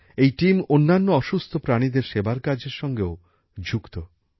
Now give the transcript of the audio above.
এই দল অন্যান্য অসুস্থ প্রাণীদের সেবার কাজের সঙ্গেও যুক্ত